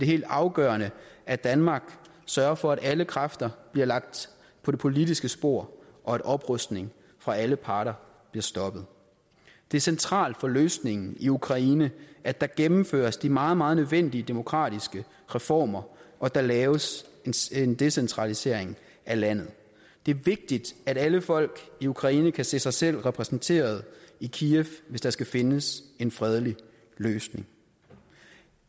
helt afgørende at danmark sørger for at alle kræfter bliver lagt på det politiske spor og at oprustning fra alle parter bliver stoppet det er centralt for løsningen i ukraine at der gennemføres de meget meget nødvendige demokratiske reformer og at der laves en decentralisering af landet det er vigtigt at alle folk i ukraine kan se sig selv repræsenteret i kiev hvis der skal findes en fredelig løsning